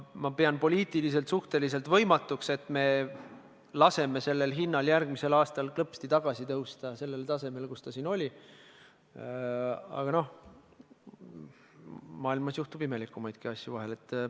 Ma pean poliitiliselt suhteliselt võimatuks, et me laseme sellel määral järgmisel aastal klõpsti tagasi tõusta sellele tasemele, kus ta praegu on, aga maailmas juhtub imelikumaidki asju vahel.